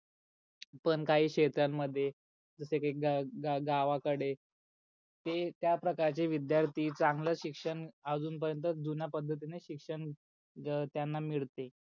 पण काही शेता मध्ये जस की गा गावा कडे ते त्या प्रकारचे विद्यार्थी चांगल शिक्षण अजून पर्यन्त जुन्या पद्धतीन शिक्षण त्यांना मिडते.